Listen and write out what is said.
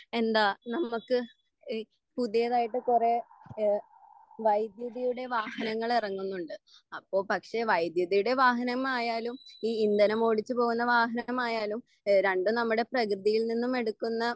എന്താ നമ്മുക്ക് എ പുതിയതായിട്ട് കൊറേ എ വൈതിഥിയുടെ വാഹനങ്ങൾ എറങ്ങുന്നുണ്ട്.അപ്പൊ പക്ഷെ വൈതിഥിയുടെ വാഹനമായാലും ഈ ഇന്ധനം ഓടിച്ച് പോവുന്ന വാഹനമായാലും ഏഹ് രണ്ടും നമ്മുടെ പ്രകൃതിയിൽ നിന്നും എടുക്കുന്ന